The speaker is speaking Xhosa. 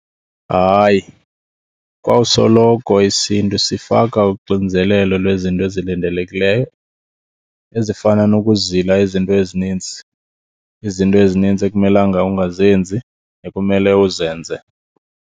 Hayi, kwawusoloko isiNtu sifaka uxinzelelo lwezinto ezilindelekileyo ezifana nokuzila izinto ezininzi, izinto ezininzi ekumelanga ungazenzi ekumele uzenze.